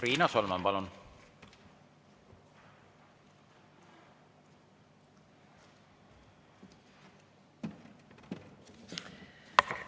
Riina Solman, palun!